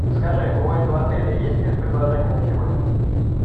скажи у этого отеля есть спецпредложения на сегодня